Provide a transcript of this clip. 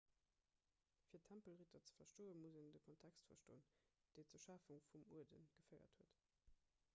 fir d'tempelritter ze verstoen muss een de kontext verstoen deen zur schafung vum uerde geféiert huet